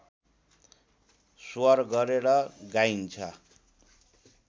स्वर गरेर गाइन्छ